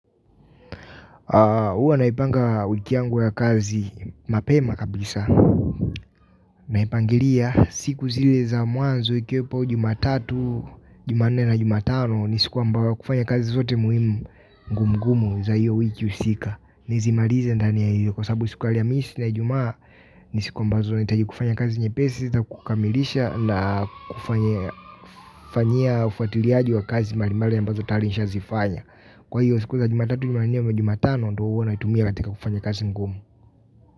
Huwa naipanga wiki yangu ya kazi mapema kabisa. Naipangilia siku zile za mwanzo ikiwepo jumatatu, jumanne na jumatano nisiku ambayo kufanya kazi zote muhimu ngumungumu za hiyo wiki husika. Nizimalize ndani ya hiyo kwa sabu siku ya alhamisi na ijumaa ni siku ambazo nahitaji kufanya kazi nyepesi, za kukamilisha na kufanya fanyia ufuatiliaji wa kazi mbalimbali ambazo tayari nisha zifanya. Kwa hiyo siku za jumatatu jumatanne ama jumatano ndo huwa naitumia katika kufanya kazi ngumu.